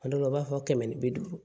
A dɔw la u b'a fɔ kɛmɛ ni bi duuru